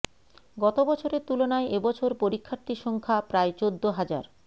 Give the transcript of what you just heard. গত বছরের তুলনায় এবছর পরীক্ষার্থীর সংখ্যা প্রায় চোদ্দ হাজার